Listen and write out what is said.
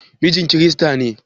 Mijin kirista ne?